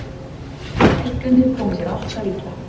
Hækkanir koma sér alltaf illa